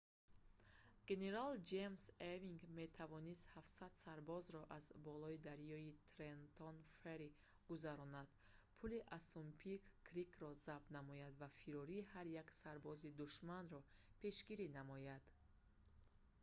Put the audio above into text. генерал ҷеймс евинг метавонист 700 сарбозро аз болои дарёи трентон ферри гузаронад пули ассунпинк крикро забт намояд ва фирори ҳар як сарбози душманро пешгирӣ намояд